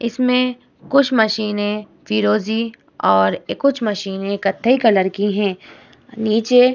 इसमें कुछ मशीनें फिरोजी और कुछ मशीनें कत्थई कलर की हैं। नीचे --